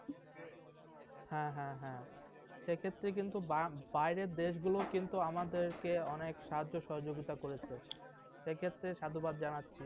হ্যাঁ হ্যাঁ হ্যাঁ, এক্ষেত্রে কিন্তু বা বাইরের দেশগুলো কিন্তু আমাদেরকে অনেক সাহায্য সহযোগিতা করছে। সেক্ষেত্রে সাধুবাদ জানাচ্ছি।